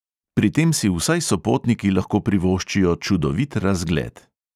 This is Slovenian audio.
Pri tem si vsaj sopotniki lahko privoščijo čudovit razgled.